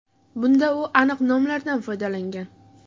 Bunda u aniq nomlardan foydalangan.